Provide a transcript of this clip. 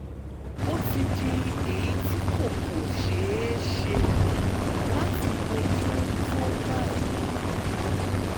ó ti di èyí tí kò kò ṣeé ṣe láti bójú tó báyìí